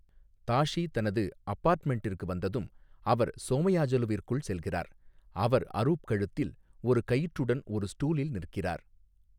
தாஷி தனது அபார்ட்மெண்டிற்கு வந்ததும், அவர் சோமயாஜுலுவிற்குள் செல்கிறார், அவர் அரூப் கழுத்தில் ஒரு கயிற்றுடன் ஒரு ஸ்டூலில் நிற்கிறார்.